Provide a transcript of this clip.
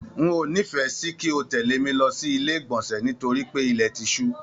N o n'ifẹ sí kí o tẹle mí lọ sí ilé igbọnsẹ nítorí pé ilẹ ti ṣu.